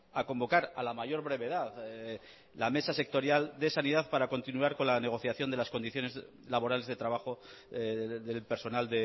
a convocar a la mayor brevedad la mesa sectorial de sanidad para continuar con la negociación de las condiciones laborales de trabajo del personal